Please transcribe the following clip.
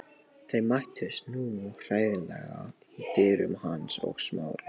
Þeir mættust nú hreinlega í dyrunum, hann og Smári.